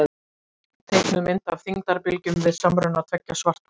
Teiknuð mynd af þyngdarbylgjum við samruna tveggja svarthola.